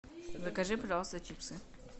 закажи пожалуйста чипсы